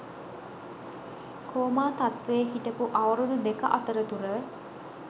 coma තත්වයේ හිටපු අවුරුදු දෙක අතරතුර